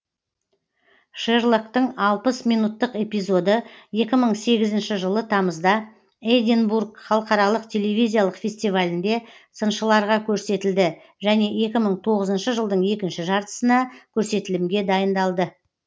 шерлоктың алпыс минуттық эпизоды екі мың сегізінші жылы тамызда эдинбург халықаралық телевизиялық фестивалінде сыншыларға көсетілді және екі мың тоғызыншы жылдың екінші жартысына көрсетілімге дайындалды